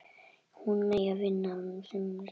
Hún megi vinna á sumrin.